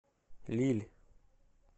лилль